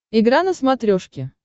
игра на смотрешке